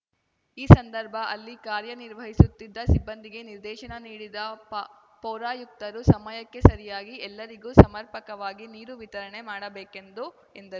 ಈ ಸಂದರ್ಭ ಅಲ್ಲಿ ಕಾರ್ಯನಿರ್ವಹಿಸುತ್ತಿದ್ದ ಸಿಬ್ಬಂದಿಗೆ ನಿರ್ದೇಶನ ನೀಡಿದ ಪ ಪೌರಾಯುಕ್ತರು ಸಮಯಕ್ಕೆ ಸರಿಯಾಗಿ ಎಲ್ಲರಿಗೂ ಸಮರ್ಪಕವಾಗಿ ನೀರು ವಿತರಣೆ ಮಾಡಬೇಕೆಂದು ಎಂದರ್